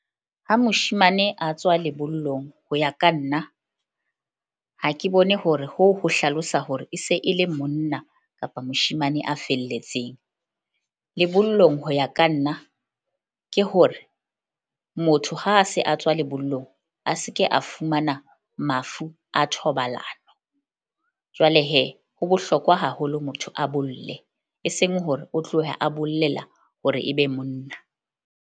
Ha moshemane a tswa lebollong ho ya ka nna ha ke bone hore ho ho hlalosa hore e se e le monna kapa moshemane a felletseng. Lebollong ho ya ka nna ke hore motho ha a se a tswa lebollong a se ke a fumana mafu a thobalano. Jwale ho bohlokwa haholo motho a bolle eseng hore o tloha a bollela hore e be monna.